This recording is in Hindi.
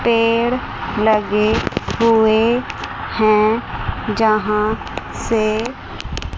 पेड़ लगे हुए हैं जहां से--